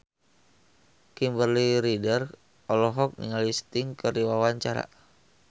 Kimberly Ryder olohok ningali Sting keur diwawancara